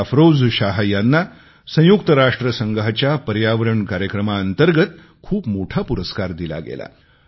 अफरोज शाह यांना संयुक्त राष्ट्रसंघाच्या पर्यावरण कार्यक्रमांतर्गत खूप मोठा पुरस्कार दिला गेला